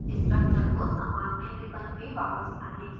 structure को सामान्य ribbon में वापस जाने के लिए